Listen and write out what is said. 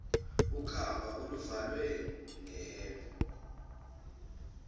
ukhamba oluvalwe ngembenge